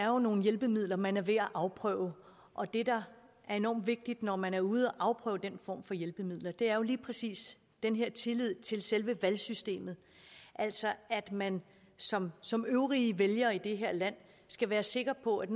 jo er nogle hjælpemidler man er ved at afprøve og det der er enormt vigtigt når man er ude at afprøve den form for hjælpemidler er jo lige præcis den her tillid til selve valgsystemet altså at man som som øvrige vælgere i det her land skal være sikker på at